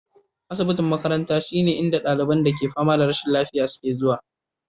Asibiti na makaranta shine inda ɗaliban da ke fama da rashin lafiya ke zuwa.